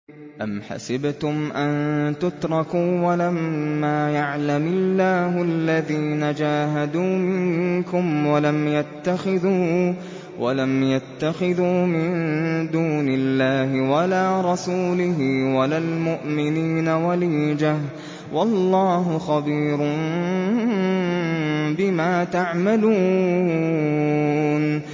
أَمْ حَسِبْتُمْ أَن تُتْرَكُوا وَلَمَّا يَعْلَمِ اللَّهُ الَّذِينَ جَاهَدُوا مِنكُمْ وَلَمْ يَتَّخِذُوا مِن دُونِ اللَّهِ وَلَا رَسُولِهِ وَلَا الْمُؤْمِنِينَ وَلِيجَةً ۚ وَاللَّهُ خَبِيرٌ بِمَا تَعْمَلُونَ